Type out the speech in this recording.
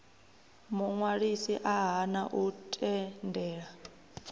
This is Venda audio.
muṅwalisi a hana u tendela